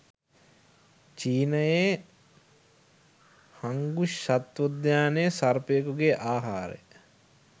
චීනයේ Hangzhou සත්වෝද්‍යානයේ සර්පයකුගේ ආහාරය